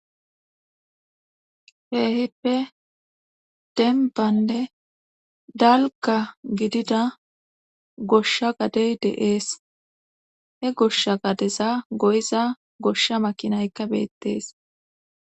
Keehippe dembanne dalgga giddida goshsha gadey de'ees. He goshsha gadeza goyiza goshsha makinaykka beettees.